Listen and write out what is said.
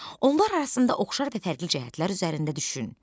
Onlar arasında oxşar və fərqli cəhətlər üzərində düşün.